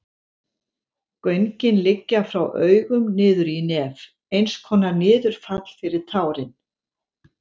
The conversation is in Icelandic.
Göngin liggja frá augum niður í nef, eins konar niðurfall fyrir tárin.